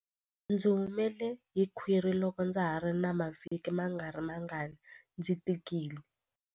Ndzi humele hi khwiri loko ndza ha ri na mavhiki mangarimangani ndzi tikile.